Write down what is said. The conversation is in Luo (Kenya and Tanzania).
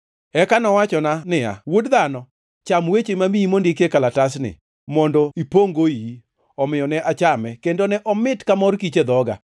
Eka nowachona niya, “Wuod dhano, cham weche mamiyi mondik e kalatasni, mondo ipongʼ-go iyi.” Omiyo ne achame, kendo ne omit ka mor kich e dhoga.